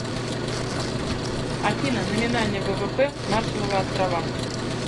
афина номинальный ввп маршалловы острова